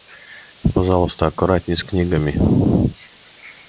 пожалуйста аккуратней с книгами